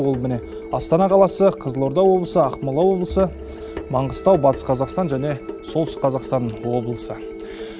ол міне астана қаласы қызылорда облысы ақмола облысы маңғыстау батыс қазақстан және солтүстік қазақстан облысы